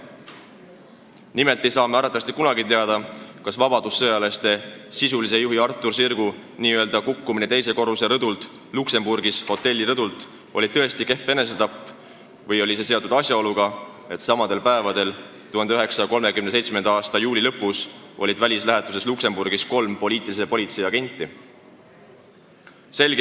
Nimelt ei saa me arvatavasti kunagi teada, kas vabadussõjalaste sisulise juhi Artur Sirgu kukkumine Luksemburgis ühe hotelli teise korruse rõdult oli enesetapp või oli see seotud asjaoluga, et samal päeval 1937. aasta juuli lõpus oli välislähetuses Luksemburgis kolm Eesti poliitilise politsei agenti.